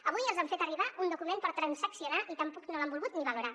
avui els hem fet arribar un document per transaccionar i tampoc no l’han volgut ni valorar